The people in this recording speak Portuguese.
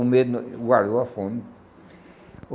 O medo guardou a fome.